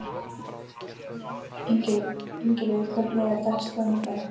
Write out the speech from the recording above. Ingilaug, hvernig er dagskráin í dag?